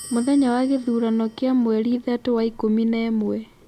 Mũthenya wa Kithurano kia mweri ithatu wa ikumi na imwe